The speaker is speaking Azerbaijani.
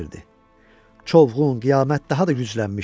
Çovğun, qiyamət daha da güclənmişdi.